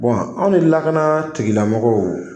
Bɔn aw ni lakana tigilamɔgɔw